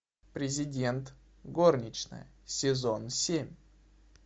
президент горничная сезон семь